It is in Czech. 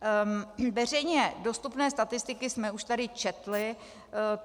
Veřejně dostupné statistiky jsme už tady četli.